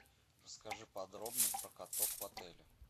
расскажи подробно про каток в отеле